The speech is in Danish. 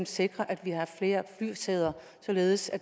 sikrer at vi har flere flysæder således at